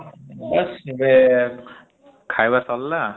ବାସ୍ ଏବେ ଖାଇବା ସରିଲା ।